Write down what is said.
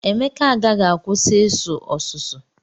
Emeka agaghị akwụsị isu ọsụsụ.